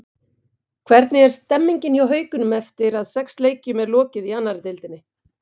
Hvernig er stemmingin hjá Haukunum eftir að sex leikjum er lokið í annarri deildinni?